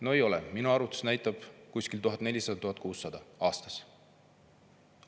No ei, minu arvutus näitab 1400–1600 eurot aastas.